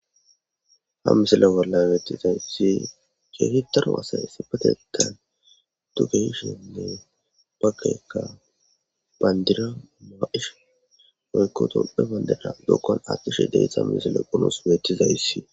Ha misile wolla beettizayssi keehitaro asa sipateta tukeyshenne bakekka bandira maaish oykkotophebandeda dokkon attishe deysha misile qunos beettizayssi.